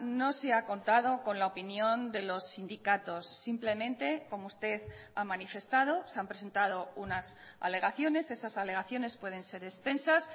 no se ha contado con la opinión de los sindicatos simplemente como usted ha manifestado se han presentado unas alegaciones esas alegaciones pueden ser extensas